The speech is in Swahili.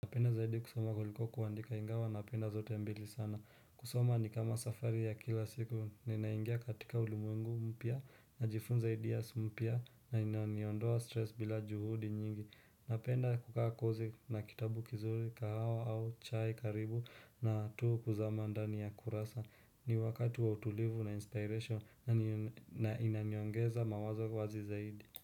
Napenda zaidi kusoma kuliko kuandika ingawa napenda zote mbili sana kusoma ni kama safari ya kila siku ninaingia katika ulimwengu mpya najifunza ideas mpya inayoniondoa stress bila juhudi nyingi napenda kukaa kozi na kitabu kizuri kahawa au chai karibu na tu kuzama ndani ya kurasa ni wakati wa utulivu na inspiration na inaniongeza mawazo wazi zaidi.